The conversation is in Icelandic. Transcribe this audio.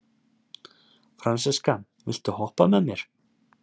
Fransiska, viltu hoppa með mér?